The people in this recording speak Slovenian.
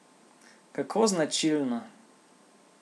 Kako značilno!